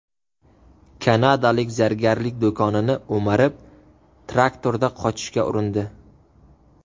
Kanadalik zargarlik do‘konini o‘marib, traktorda qochishga urindi.